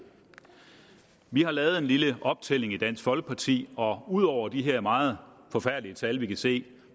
vi har lavet en lille optælling i dansk folkeparti og ud over de her meget forfærdelige tal vi kan se